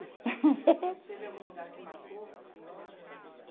Teve algum lugar que marcou para a senhora?